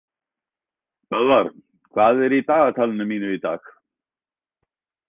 Böðvar, hvað er í dagatalinu mínu í dag?